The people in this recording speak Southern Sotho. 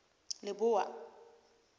leboa